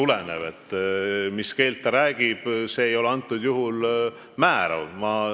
See, mis keeles keegi räägib, see ei ole praegusel juhul määrav.